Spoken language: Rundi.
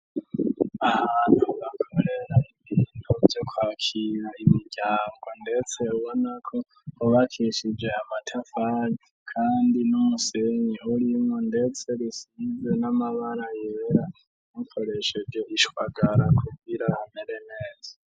Ahantu bakorera intuvyo kwakiya imuryanbwa, ndetse bubonako hubakishije amatafazi, kandi n'umusenyi horimwo, ndetse rusize n'amabara yeera nukoresheje rishwagara kubwira amere neza.